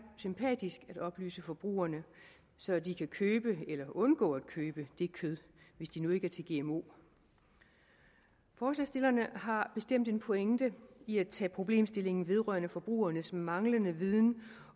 sympatisk at oplyse forbrugerne så de kan købe eller undgå at købe det kød hvis de nu ikke er til gmo forslagsstillerne har bestemt en pointe i at tage problemstillingen op vedrørende forbrugernes manglende viden